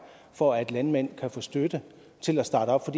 for at landmænd kan få støtte til at starte op